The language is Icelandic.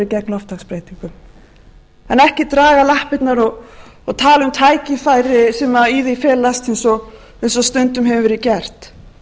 en ekki draga lappirnar og tala um tækifæri sem í því felast eins og stundum hefur verið gert